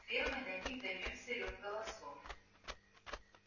с фермы до них донёсся рёв голосов